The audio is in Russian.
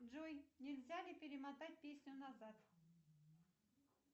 джой нельзя ли перемотать песню назад